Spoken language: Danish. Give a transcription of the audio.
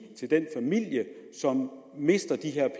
til den familie som mister de her